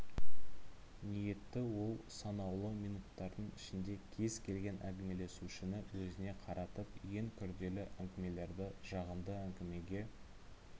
ниетті ол санаулы минуттардың ішінде кез келген әңгімелесушіні өзіне қаратып ең күрделі әңгімелерді жағымды әңгімеге